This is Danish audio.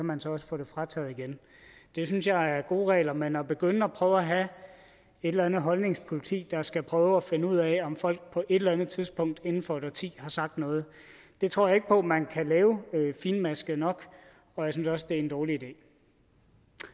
man så også få det frataget igen det synes jeg er gode regler men at begynde at prøve at have et eller andet holdningspoliti der skal prøve at finde ud af om folk på et eller andet tidspunkt inden for et årti har sagt noget tror jeg ikke på at man kan lave finmasket nok og jeg synes også det er en dårlig idé